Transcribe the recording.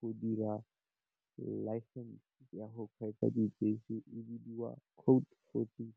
ka dira license ya go kgweetsa di bese e bidiwa code fourteen.